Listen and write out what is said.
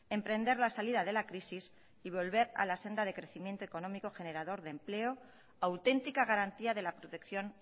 emprender la salida de la crisis y volver a la senda de crecimiento económico generador de empleo auténtica garantía de la protección